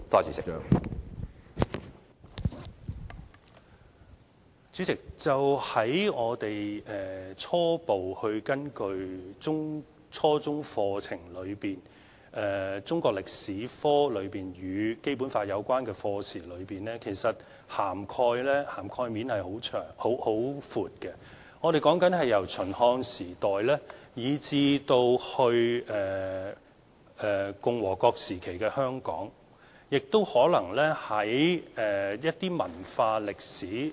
主席，初步根據初中課程來看，中國歷史科與《基本法》有關課程的涵蓋面其實很寬，是由秦漢時代以至共和國時期的香港，可能亦有提及一些文化歷史。